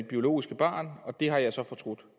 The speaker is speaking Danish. biologiske barn og det har jeg så fortrudt